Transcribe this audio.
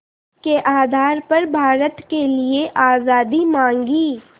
के आधार पर भारत के लिए आज़ादी मांगी